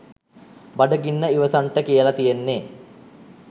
බඩගින්න ඉවසන්ට කියල තියෙන්නේ